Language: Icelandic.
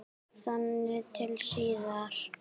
Þangað til síðar.